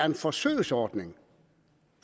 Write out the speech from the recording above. en forsøgsordning